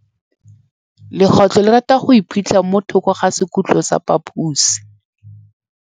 Legôtlô le rata go iphitlha mo thokô ga sekhutlo sa phaposi.